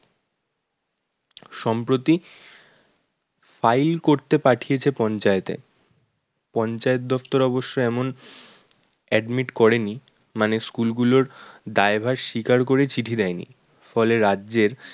সম্প্রতি file করতে পাঠিয়েছে পঞ্চায়েতে পঞ্চায়েত দপ্তর অবশ্য এমন admit করেনি মানে school গুলোর দায়ভার স্বীকার করে চিঠি দেয় নি, ফলে রাজ্যের